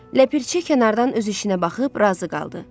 Ləpirçi kənardan öz işinə baxıb razı qaldı.